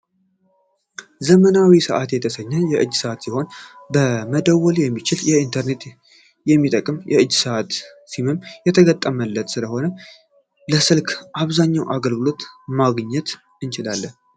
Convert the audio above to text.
ዘመናዊ ሰአት የተሰኘ የእጅ ሰዓት ሲሆን መደወል የሚችል ኢንተርኔት የሚጠቀም የእጅ ሰዓት ነው ሲምም የተገጠመለት ስለሆነ የስልክ አብዛኛው አገልግሎቶችን ማግኘት እንችላለን።